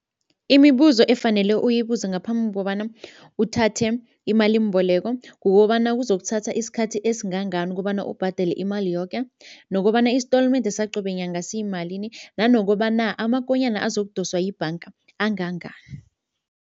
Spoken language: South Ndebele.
Imibuzo efanele uyibuze ngaphambi kobana uthathe imalimboleko kukobana kuzokuthatha isikhathi esingangani ukobana ubhadele imali yoke nokobana isitolimende saqobe nyanga siyimalini nanokobana amakonyana azokudoswa yibhanga angangani.